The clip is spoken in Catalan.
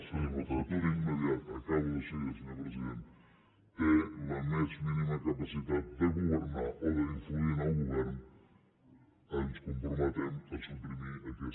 en el futur immediat acabo de seguida senyor president té la més mínima capacitat de governar o d’influir en el govern ens comprometem a suprimir aquesta mesura